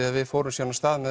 að við fórum svo af stað með